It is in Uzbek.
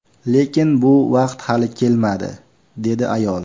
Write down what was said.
Lekin bu vaqt hali kelmadi”, dedi ayol.